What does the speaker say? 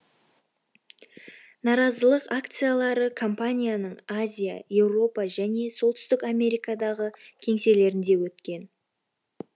наразылық акциялары компанияның азия еуропа және солтүстік америкадағы кеңселерінде өткен